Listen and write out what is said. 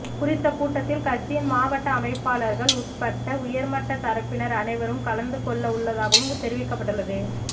குறித்த கூட்டத்தில் கட்சியின் மாவட்ட அமைப்பாளர்கள் உட்பட உயர்மட்டத்தரப்பினர் அனைவரும் கலந்துகொள்ளவுள்ளதாகவும் தெரிவிக்கப்பட்டுள்ளது